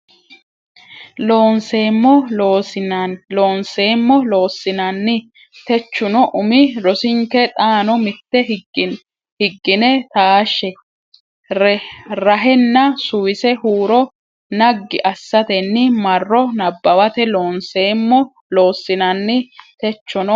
Loonseemmo Loossinanni techohu umi rosinke xaano mitte higgine taashshe rahenna suwise huuro ne naggi assatenni marro nabbawate Loonseemmo Loossinanni techohu.